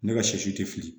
Ne ka sɛsi tɛ fili